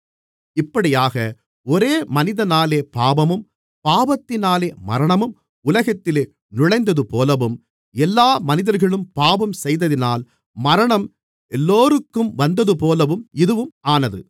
இப்படியாக ஒரே மனிதனாலே பாவமும் பாவத்தினாலே மரணமும் உலகத்திலே நுழைந்ததுபோலவும் எல்லா மனிதர்களும் பாவம் செய்ததினால் மரணம் எல்லோருக்கும் வந்ததுபோலவும் இதுவும் ஆனது